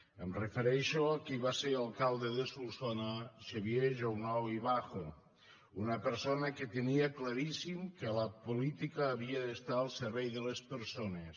em refereixo a qui va ser alcalde de solsona xavier jounou i bajo una persona que tenia claríssim que la política havia d’estar al servei de les persones